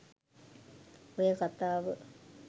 ඔය කතාව